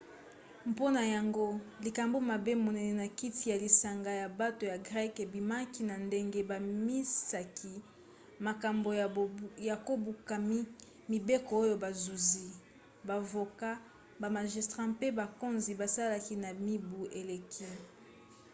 mpona yango likambo mabe monene na kati ya lisanga ya bato ya greke ebimaki na ndenge babimisaki makambo ya kobuka mibeko oyo bazuzi bavoka bamagistrat mpe bakonzi basalaki na mibu eleki